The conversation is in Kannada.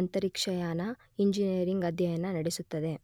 ಅಂತರಿಕ್ಷಯಾನ ಇಂಜಿನಿಯರಿಂಗ್ ಅಧ್ಯಯನ ನಡೆಸುತ್ತದೆ.